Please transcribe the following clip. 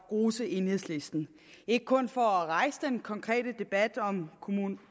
rose enhedslisten ikke kun for at rejse den konkrete debat om